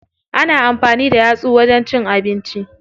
Ana amfani da yatsu wajen cin abinci.